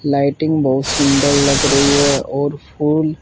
lighting बहोत सुंदर लग रही है और फूल--